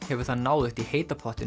hefur það náðugt í heita pottinum